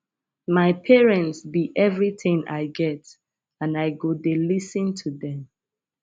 my parents be everything i get and i go dey lis ten to dem